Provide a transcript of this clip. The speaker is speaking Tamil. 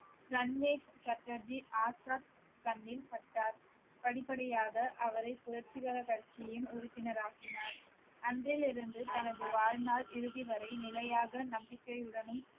ரன்வீர் சட்டர்ஜி ஆசாத் கண்ணில் பட்டார் படிப்படியாக அவரை புரட்சிகர கட்சியின் உறுப்பினர் ஆக்கினார் அன்றிலிருந்து தனது வாழ்நாள் இறுதி வரை நிலையாக நம்பிக்கையுடனும்